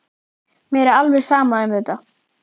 Mér er alveg sama um þetta.